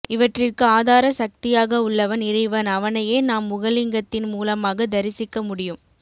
இவற்றிற்கு ஆதார சக்தியாக உள்ளவன் இறைவன் அவனையே நாம் முகலிங்கத்தின் மூலமாக தரிசிக்க முடியும்